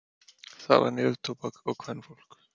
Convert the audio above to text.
Það var neftóbak og kvenfólk.